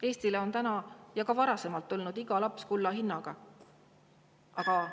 Eestile on täna ja ka varem olnud iga laps kulla hinnaga, aga …